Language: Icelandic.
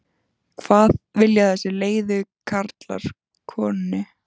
hvað vilja þessir leiðu karlar konunni?